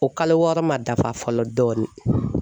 O kalo wɔɔrɔ man dafa fɔlɔ dɔɔni.